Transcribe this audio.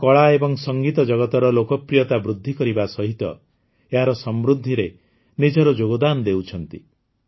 ଏହା କଳା ଏବଂ ସଙ୍ଗୀତ ଜଗତର ଲୋକପ୍ରିୟତା ବୃଦ୍ଧିକରିବା ସହିତ ଏହାର ସମୃଦ୍ଧିରେ ନିଜର ଯୋଗଦାନ ଦେଉଛନ୍ତି